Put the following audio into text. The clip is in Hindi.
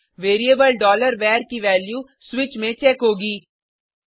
फिर से वेरिएबल var की वैल्यू स्विच में चेक होगी